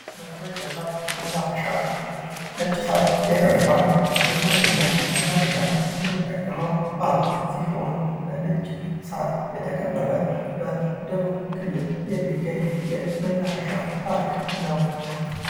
መዝናኛና መናፈሻ ነጭ ሣር ብሔራዊ ፓርክ ለመዝናኛና መናፈሻ የምንጠቀመው ፓርክ ሲሆን በነጭ ሳር የተከበበ በደቡብ ክልል የሚገኝ የመናፈሻ ፓርክ ነው።